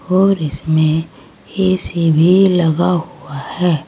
और इसमें ए_सी भी लगा हुआ है।